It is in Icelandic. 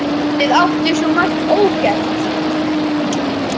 Þið áttuð svo margt ógert.